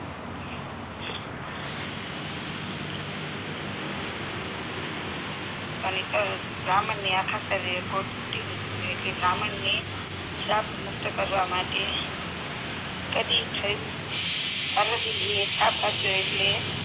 ત નેતર બ્રાહ્મણને આખા શરીરને ફૂટી એટલે બ્રાહ્મણ ને શ્રાપ મુક્ત કરવા માટે કદી થયું પાર્વતીજીએ શ્રાપ આપ્યો એટલે